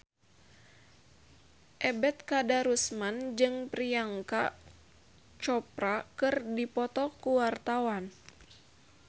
Ebet Kadarusman jeung Priyanka Chopra keur dipoto ku wartawan